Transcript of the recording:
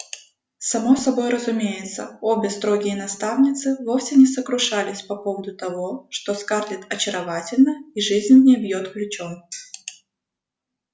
само собой разумеется обе строгие наставницы вовсе не сокрушались по поводу того что скарлетт очаровательна и жизнь в ней бьёт ключом